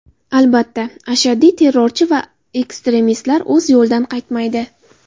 Albatta, ashaddiy terrorchi va ekstremistlar o‘z yo‘lidan qaytmaydi.